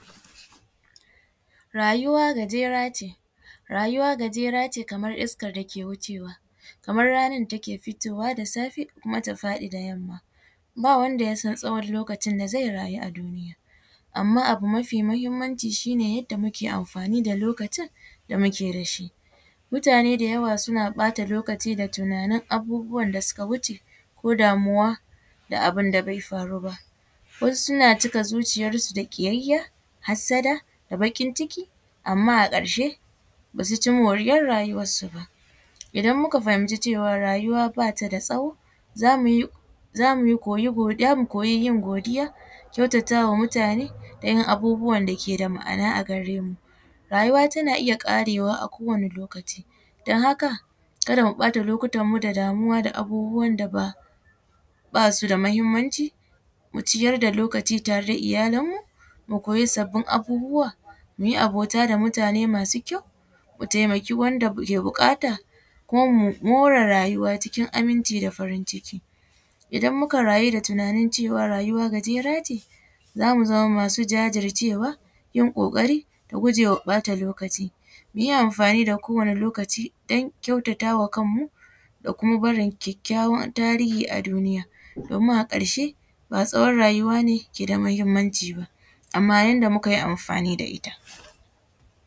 Rayuwa gajera ce, rayuwa gajera ce kamar iskar dake wucewa kamar ranar da take fitowa da safe ta faɗi da yamma babu wanda ya san tsawon da zai rayu a duniya amma abu mafi muhimmanci shi ne yadda muke amfani da lokacin da muke da shi, mutane da yawa suna ɓata lokaci da tunanin da suka wuce ko damuwa da abun da bai faru ba wasu suna cika zuciyar su da kiyayya hasada da bakin ciki amma a karshe basu ci moriyar rayuwar su ba, idan muka fahimci cewa rayuwa bata da tsawo zamu koyi yin godiya kyautata wa mutane da yin abubuwan dake da ma’ana a gare mu rayuwa tana iya karewa a ko wani lokaci don haka kada mu ɓata lokutan mu da damuwan da basu da muhimmanci mu ciyar da lokaci tare da iyalan mu mu koyi sabbin abubuwa muyi abota da mutane masu kyau mu taimaki wanda ke bukata kuma more rayuwa cikin aminci da farin ciki, idan muka rayu da tunanin cewa rayuwa gajera ce zamu zama masu jajircewa yin kokari da gujewa ɓata lokaci muyi amfani da kowane lokaci don kyautatawa kanmu da kuma barin kyakyawan tarihi a duniya domin a karshe ba tsawon rayuwa ne ke da muhimmanci ba amma yadda muka yi amfani da ita.